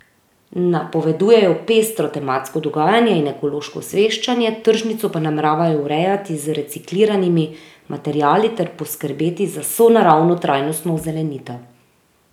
Napovedujejo pestro tematsko dogajanje in ekološko osveščanje, tržnico pa nameravajo urejati z recikliranimi materiali ter poskrbeti za sonaravno trajnostno ozelenitev.